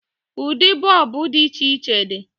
Ụdị bọọbụ dị iche iche di.